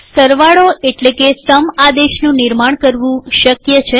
સરવાળો એટલે કે સમ આદેશનું નિર્માણ કરવું શક્ય છે